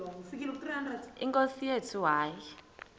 nkosi yethu hayi